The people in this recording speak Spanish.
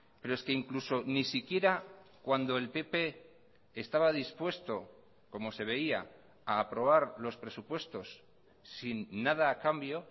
pero es que incluso ni siquiera cuando el pp estaba dispuesto como se veía a aprobar los presupuestos sin nada a cambio